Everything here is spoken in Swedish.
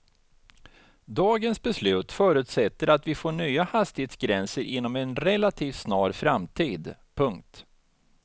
Dagens beslut förutsätter att vi får nya hastighetsgränser inom en relativt snar framtid. punkt